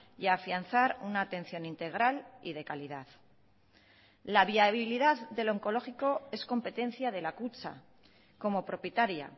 y afianzar una atención integral y de calidad la viabilidad del oncológico es competencia de la kutxa como propietaria